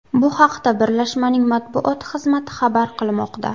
Bu haqda birlashmaning matbuot xizmati xabar qilmoqda .